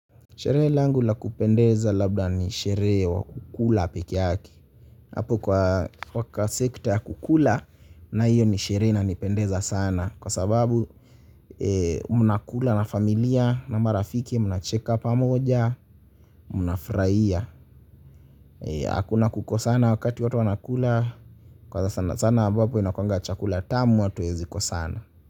Sherehe langu la kupendeza, labda ni sherehe ya wa kukula pekee yake, hapo kwa ka sekta ya kukula, na hiyo ni sherehe inanipendeza sana, kwa sababu mnakula na familia, na marafiki mnacheka pamoja mnafurahia hakuna kukosana wakati watu wanakula, kwa sana sana ambapo inakuanga chakula tamu, watu hawawezi kosana.